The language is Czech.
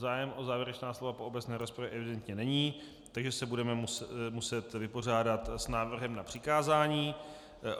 Zájem o závěrečná slova po obecné rozpravě evidentně není, takže se budeme muset vypořádat s návrhem na přikázání.